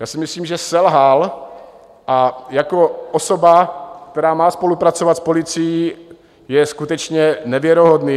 Já si myslím, že selhal, a jako osoba, která má spolupracovat s policií, je skutečně nevěrohodný.